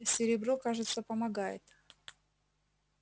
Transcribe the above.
серебро кажется помогает